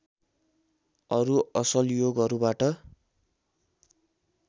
अरु असल योगहरूबाट